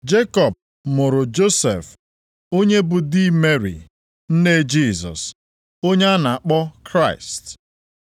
Jekọb mụrụ Josef onye bụ di Meri nne Jisọs, onye a na-akpọ Kraịst.